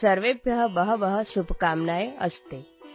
ಸರ್ವೇಭ್ಯಃ ಬಹವ್ಯಃ ಶುಭಕಾಮನಃ ಸಂತಿ